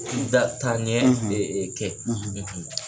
N da taaɲɛ kɛ